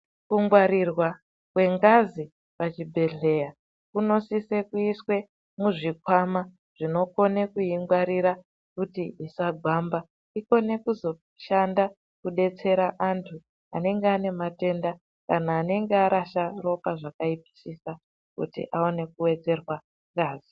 Kungwarwa kwengazi pachibhedhleya kunosise kuiswe muzvikwama zvinokone kuingwarira kuti isagwamba ikone kuzoshanda kudetsera antu anenge ane matenda kana anenge arasha ropa zvakaipisisa kuti aone kuwedzerwa ngazi.